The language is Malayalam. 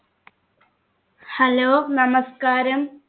hello നമസ്കാരം